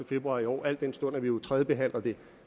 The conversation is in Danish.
februar i år al den stund at vi jo tredjebehandler det